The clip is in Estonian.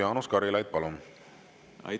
Jaanus Karilaid, palun!